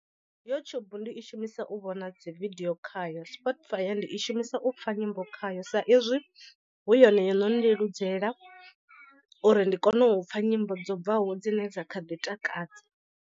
YouTube ndi i shumisa u vhona dzividiyo khayo Spotify ndi i shumisa u pfha nyimbo khayo sa izwi hu yone yo no leludzela uri ndi kone u pfha nyimbo dzo bvaho dzine dza kha ḓi takadza.